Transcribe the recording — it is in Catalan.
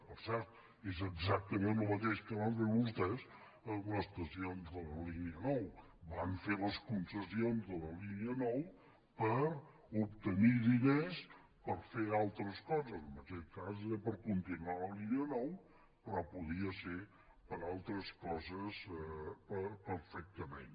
per cert és exactament el mateix que van fer vostès amb estacions de la línia nou van fer les concessions de la línia nou per obtenir diners per fer altres coses en aquest cas era per continuar la línia nou però podia ser per a altres coses perfectament